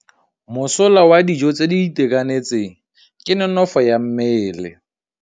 Mosola wa dijô tse di itekanetseng ke nonôfô ya mmele.